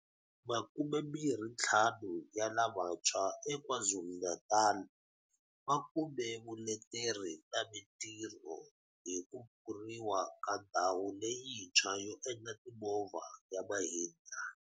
Makumembirhintlhanu ya lavantshwa eKwaZulu-Natal va kume vuleteri na mitirho hi ku pfuriwa ka ndhawu leyintshwa yo endla timovha ya Mahindra.